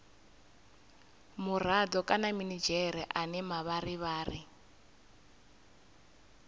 murado kana minidzhere ane mavharivhari